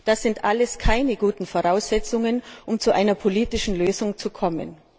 Das sind alles keine guten Voraussetzungen, um zu einer politischen Lösung zu kommen.